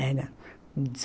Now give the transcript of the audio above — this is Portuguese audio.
Era.